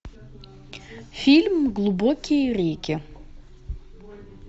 фильм глубокие реки